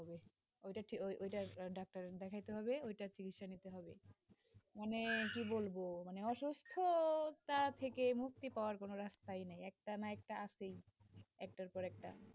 ওটা ওটা ডাক্তার দেখাইতে হবে, মানে কি বলব অসুস্থটা থেকে মুক্তি পাওয়ার কোন রাস্তা